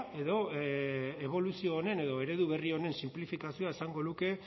edo eboluzio honen edo eredu berri honen sinplifikazioak esango luke